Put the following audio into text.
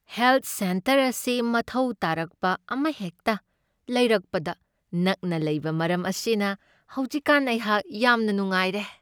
Health centre ꯑꯁꯤ ꯃꯊꯧ ꯇꯥꯔꯛꯄ ꯑꯃꯍꯦꯛꯇ ꯂꯩꯔꯛꯄꯗ ꯅꯛꯅ ꯂꯩꯕ ꯃꯔꯝ ꯑꯁꯤꯅ ꯍꯧꯖꯤꯛꯀꯥꯟ ꯑꯩꯍꯥꯛ ꯌꯥꯝꯅ ꯅꯨꯡꯉꯥꯏꯔꯦ ꯫